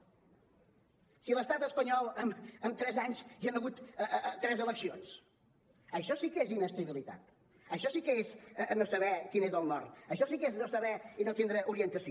si a l’estat espanyol en tres anys hi han hagut tres eleccions això sí que és inestabilitat això sí que és no saber quin és el nord això sí que és no saber i no tindre orientació